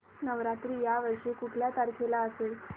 नवरात्र या वर्षी कुठल्या तारखेला असेल